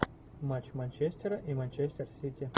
матч манчестера и манчестер сити